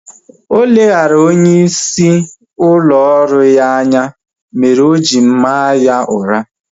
Oleghara onye isi ụlọ ọrụ ya anya mere oji maa ya ụra